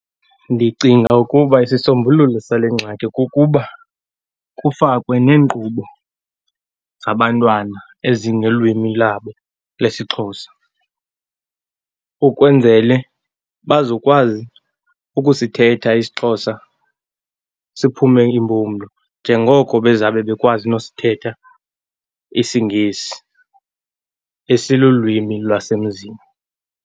Ndicinga ukuba isisombululo sale ngxaki kukuba kufakwe neenkqubo zabantwana ezingelwimi labo lesiXhosa, ukwenzele bazokwazi ukusithetha isiXhosa siphume impumlo, njengoko baza kube bekwazi nosithetha isiNgesi esilulwimi lwasemzini.